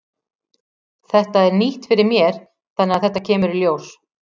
Þetta er nýtt fyrir mér þannig að þetta kemur í ljós.